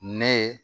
Ne ye